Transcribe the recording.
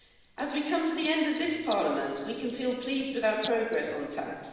As we come to the end of this Parliament, we can feel pleased with our progress on tax.